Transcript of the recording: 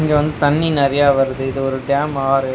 இங்க வந்து தண்ணி நறையா வருது இது ஒரு டேம் ஆறு.